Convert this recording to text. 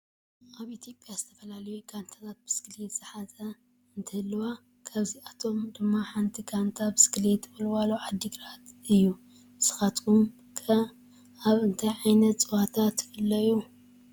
ኣብ ኢትዮጵያ ዝተፈላለዩ ጋንታታት ብስክሌት ዝሓዛ እንትህልዋ ካብኣቶም ድማ ሓንቲ ጋንታ ብስክሌት ወልዋሎ ዓድግራት እዩ። ንስኹም ኸ ኣብ እንታይ ዓይነት ፅዋታ ትፈልዩ ?